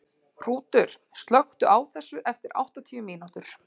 Hrútur, slökktu á þessu eftir áttatíu mínútur.